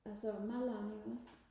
altså madlavning også